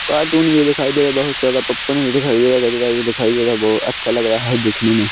cartoon भी दिखाई दे रहा बहुत सारा पॉपकॉन भी दिखाई दे रहा गजरा भी दिखाई दे रहा ब अच्छा लग रहा हैं दिखने में--